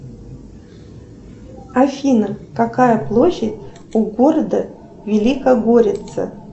афина какая площадь у города великогорица